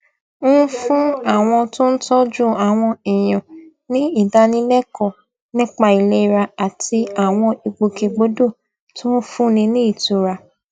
ń fún àwọn tó ń tójú àwọn èèyàn ní ìdánilékòó nípa ìlera àti àwọn ìgbòkègbodò tó ń fúnni ní ìtura